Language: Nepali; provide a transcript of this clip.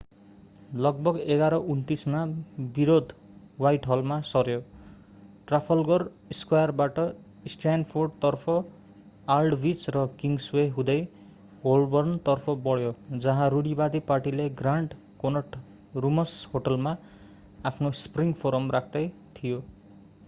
लगभग 11:29 मा विरोध ह्वाइटहलमा सर्‍यो ट्राफल्गर स्क्वायरबाट स्ट्र्यान्डतर्फ आल्डविच र किङ्सवे हुँदै होल्बर्नतर्फ बढ्यो जहाँ रूढिवादी पार्टीले ग्रान्ड कोनट रूम्स होटलमा आफ्नो स्प्रिङ फोरम राख्दै थियो।